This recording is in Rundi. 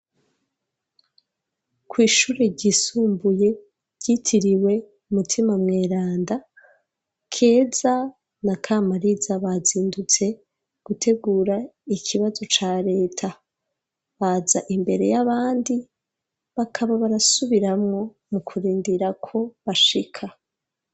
Kw' ishure ryisumbuye ryitiriwe umutima mweranda, Keza na Kamariza bazindutse gutegura ikibazo ca leta ,baza imbere y'abandi bakaba barasubiramwo mu kurindira ko bashika.